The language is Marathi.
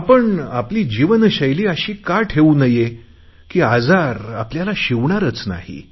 आपण आपली जीवनशैली अशी का ठेऊ नये की आपल्याला आजार शिवणारच नाही